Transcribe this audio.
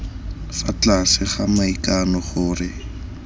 fa tlase ga maikano gore